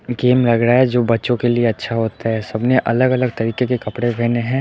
एक गेम लग रहा है जो बच्चों के लिए अच्छा होता है सबने अलग अलग तरीके के कपड़े पेहने हैं।